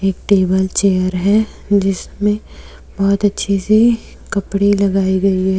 एक table chair है जिसमें बहुत अच्छे से कपड़े लगाए गए हैं।